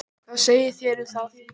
Hvað segið þér um það?